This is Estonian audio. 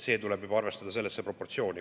See tuleb arvestada sellesse proportsiooni.